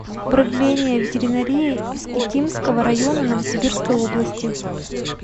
управление ветеринарии искитимского района новосибирской области